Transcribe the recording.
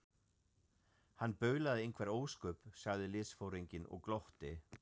Hann baulaði einhver ósköp, sagði liðsforinginn og glotti.